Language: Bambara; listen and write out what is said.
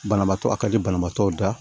Banabaatɔ a ka di banabaatɔw da